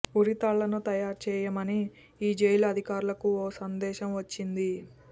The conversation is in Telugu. ఉరితాళ్లను తయారుచేయమని ఈ జైలు అధికారులకు ఓ సందేశం వచ్చింది